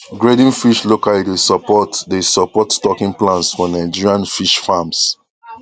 grading fish locally dey support dey support stocking plans for nigerian fish farms